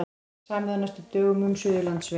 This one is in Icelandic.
Samið á næstu dögum um Suðurlandsveg